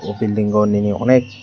o bilding o nini anek.